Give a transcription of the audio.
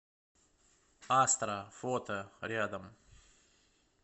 астра фото рядом